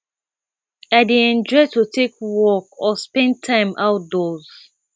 you dey enjoy to take a walk or spend time outdoors